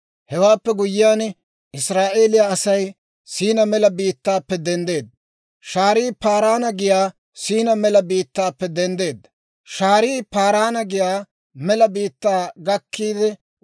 Hewaappe guyyiyaan, Israa'eeliyaa Asay Siinaa Mela biittaappe denddeedda; shaarii Paaraana giyaa mela biittaa gakkiide wod'd'eedda.